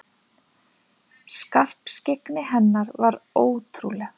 Skarpskyggni hennar var ótrúleg.